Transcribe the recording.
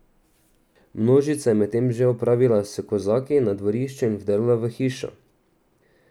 Množica je medtem že opravila s kozaki na dvorišču in vdrla v hišo.